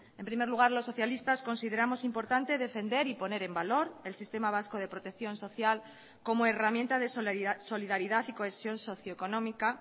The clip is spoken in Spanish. en primer lugar los socialistas consideramos importante defender y poner en valor el sistema vasco de protección social como herramienta de solidaridad y cohesión socioeconómica